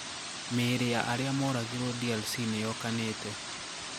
Mĩĩri ya aria moragirũo DRC niyokanite.